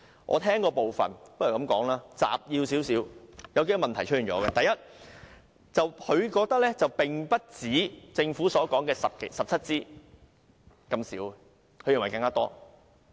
我將聽到的部分撮述如下：第一，潘先生認為被剪的鋼筋不只政府所說的17支，應該有更多。